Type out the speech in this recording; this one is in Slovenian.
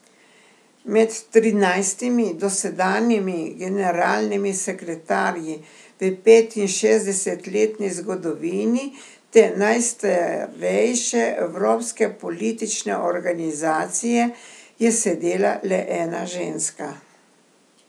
Med trinajstimi dosedanjimi generalnimi sekretarji v petinšestdesetletni zgodovini te najstarejše evropske politične organizacije je sedela le ena ženska.